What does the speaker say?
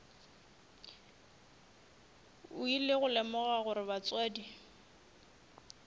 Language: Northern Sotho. ile go lemoga gore batswadi